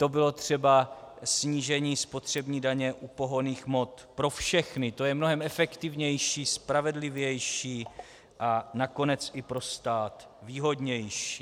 To bylo třeba snížení spotřební daně pohonných hmot pro všechny, to je mnohem efektivnější, spravedlivější a nakonec i pro stát výhodnější.